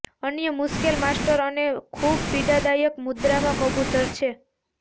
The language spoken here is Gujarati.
અન્ય મુશ્કેલ માસ્ટર અને ખૂબ પીડાદાયક મુદ્રામાં કબૂતર છે